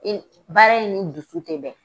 baara in ni dusu tɛ bɛn.